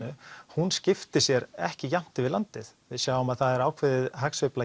hún skiptir sér ekki jafnt yfir landið við sjáum að það er ákveðin